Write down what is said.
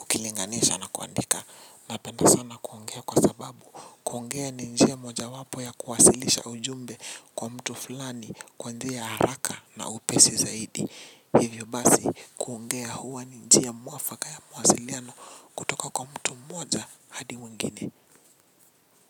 ukilinganisha na kuandika napenda sana kuongea kwa sababu kuongea ni njia moja wapo ya kuwasilisha ujumbe kwa mtu fulani kuongea haraka na upesi zaidi. Hivyo basi kuongea huwa ni njia mwafaka ya mawasiliano kutoka kwa mtu mmoja hadi mwingine.